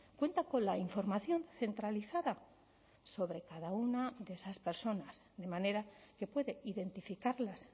cuenta con la información centralizada sobre cada una de esas personas de manera que puede identificarlas